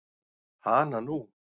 Hana nú.